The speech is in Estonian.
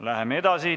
Läheme edasi.